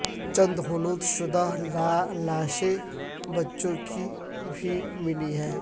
چند حنوط شدہ لاشیں بچوں کی بھی ملی ہیں